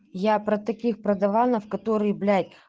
я про таких продаванов которые блять